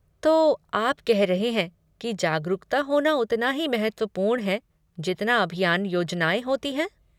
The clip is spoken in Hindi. तो, आप कह रहे है कि जागरूकता होना उतना ही महत्वपूर्ण है जितना अभियान योजनाएं होती हैं?